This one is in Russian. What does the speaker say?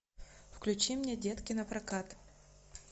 включи мне детки напрокат